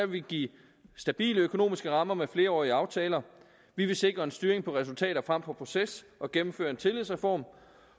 vil give stabile økonomiske rammer med flerårige aftaler vi vil sikre en styring på resultater frem for proces og gennemføre en tillidsreform